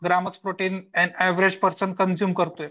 Grams protein an average person consume करतोय.